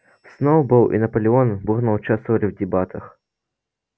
сноуболл и наполеон бурно участвовали в дебатах